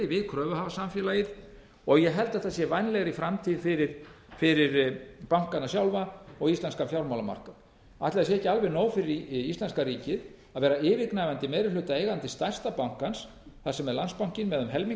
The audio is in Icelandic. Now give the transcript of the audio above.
við kröfuhafasamfélagið og ég held þetta sé vænlegri framtíð fyrir bankana sjálfa íslenskan fjármálamarkað ætli sé ekki alveg nóg fyrir íslenska ríkið að vera yfirgnæfandi eigandi meiri hluta stæra bankans þar sem er landsbankinn með um helming